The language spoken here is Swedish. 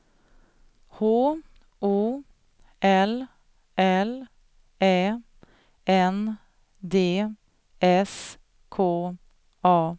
H O L L Ä N D S K A